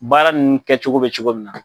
Baara nunnu kɛ cogo be cogo min na.